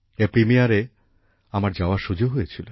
এর প্রিমিয়ারে আমার যাওয়ার সুযোগ হয়েছিল